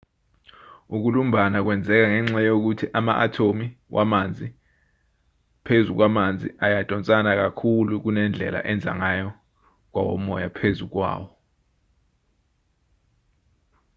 ukulumbana kwenzeka ngenxa yokuthi ama-athomu wamanzi phezu kwamanzi ayadonsana kakhulu kunendlela enza ngayo kwawomoya phezu kwawo